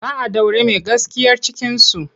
Za a ɗaure mai gaskiyar cikinsu.